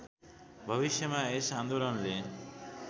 भविष्यमा यस आन्दोलनले